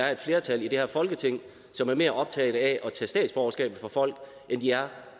er et flertal i det her folketing som er mere optaget af tage statsborgerskabet fra folk end de er